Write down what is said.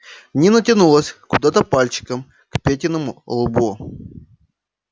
нина тянулась куда-то пальчиком к петиному лбу